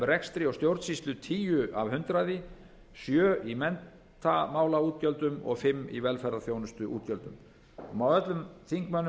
rekstri og stjórnsýslu tíu af hundraði sjö í menntamálaútgjöldum og fimm í velferðarþjónustuútgjöldum það má öllum þingmönnum